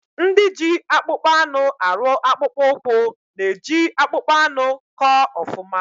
Ndị ji akpụkpọ anụ arụ akpụkpụ ụkwụ na eji akpụkpọ anụ kọ ọfụma